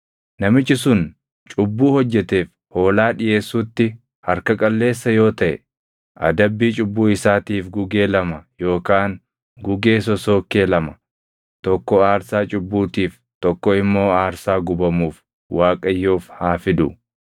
“ ‘Namichi sun cubbuu hojjeteef hoolaa dhiʼeessuutti harka qalleessa yoo taʼe adabbii cubbuu isaatiif gugee lama yookaan gugee sosookkee lama, tokko aarsaa cubbuutiif tokko immoo aarsaa gubamuuf Waaqayyoof haa fidu.